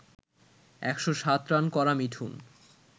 ১০৭ run করা মিঠুন